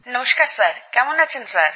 নমস্কার স্যার কেমন আছেন স্যার